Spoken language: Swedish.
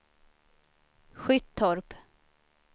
Skyttorp